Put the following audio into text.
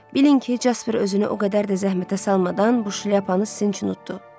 Bilin ki, Jaspar özünü o qədər də zəhmətə salmadan buşlyapanı sizin üçün utdu.